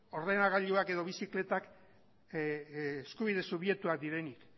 ordenagailuak edo bizikletak eskubide subjektuak direnik